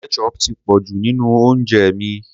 Ketchup ti pọ̀ jù nínú oúnjẹ mi.